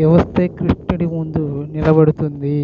వివస్త్రై శ్రీకృష్ణుడి ముందు నిలబడుతుంది